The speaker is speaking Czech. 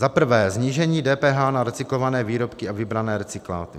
Za prvé, snížení DPH na recyklované výrobky a vybrané recykláty.